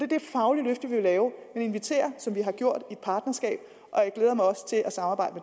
det faglige løft vi vil lave vi vil invitere som vi har gjort et partnerskab og jeg glæder mig også til at samarbejde